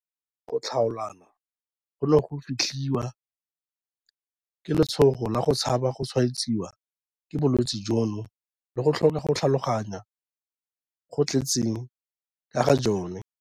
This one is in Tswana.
Ga twe go tlhaolana gono go fetlhiwa ke letshogo la go tshaba go tshwaetsiwa ke bolwetse jono le go tlhoka go tlhaloganya go go tletseng ka ga jone.